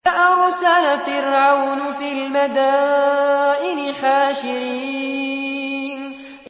فَأَرْسَلَ فِرْعَوْنُ فِي الْمَدَائِنِ حَاشِرِينَ